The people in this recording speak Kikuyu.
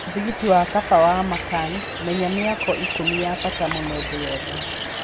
mũthigiti wa Ka'aba wa Makkah: menya mĩako ikũmi ya bata mũno thĩ yothe